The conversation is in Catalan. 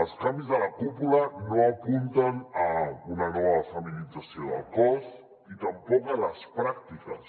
els canvis de la cúpula no apunten a una nova feminització del cos i tampoc a les pràctiques